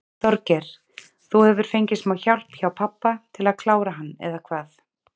Þorgeir: Þú hefur fengið smá hjálp hjá pabba til að klára hann eða hvað?